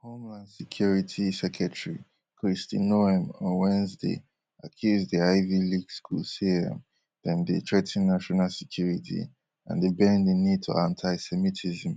homeland security secretary kristi noem on wednesday accuse di ivy league school say um dem dey threa ten national security and dey bend di knee to antisemitism